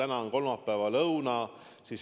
Täna on kolmapäeva lõuna.